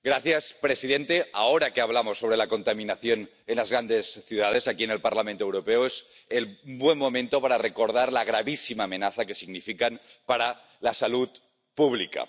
Señor presidente, ahora que hablamos sobre la contaminación en las grandes ciudades, aquí en el Parlamento Europeo, es el buen momento para recordar la gravísima amenaza que significa para la salud pública.